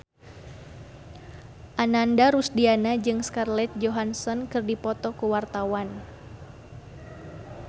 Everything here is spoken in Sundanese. Ananda Rusdiana jeung Scarlett Johansson keur dipoto ku wartawan